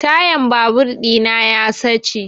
Tayan babur ɗina ya sace